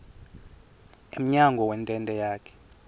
emnyango wentente yakhe